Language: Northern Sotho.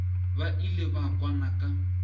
ba ile ba kwana ka